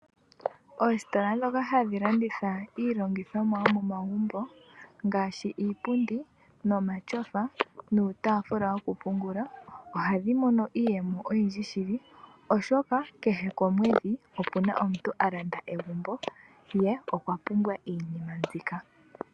Oositola dhoka hadhi landitha iilongithomwa yomomagumba ngaashi iipundi, omatyofa ,nuutafula woku pungula ohadhi mono iiyemo oyindji shili oshoka kehe omwedhi opena omuntu alanda egumbo ye okwapumbwa iinima mbika.